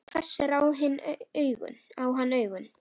Hún hvessir á hann augun.